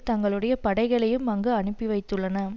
தங்களுடைய படைகளையும் அங்கு அனுப்பி வைத்துள்ளன